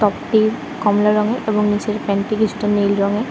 টপটি কমলা রঙে এবং নিচে প্যান্ট -টি কিছুটা নীল রঙের।